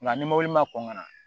Nka ni mɔbili ma kɔn ka na